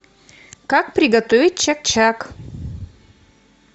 как приготовить чак чак